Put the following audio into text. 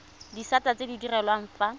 disata tse di direlwang fa